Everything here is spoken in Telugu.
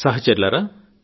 సహచరులారా